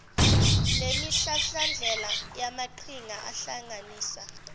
lwemihlahlandlela yamaqhinga ahlanganisa